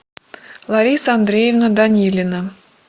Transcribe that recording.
лариса андреевна данилина